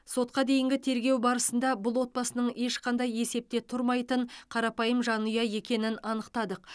сотқа дейінгі тергеу барысында бұл отбасының ешқандай есепте тұрмайтын қарапайым жанұя екенін анықтадық